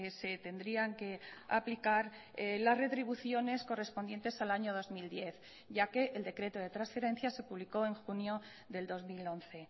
se tendrían que aplicar las retribuciones correspondientes al año dos mil diez ya que el decreto de transferencias se publicó en junio del dos mil once